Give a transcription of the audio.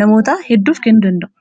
namoota hedduuf kennuu danda,u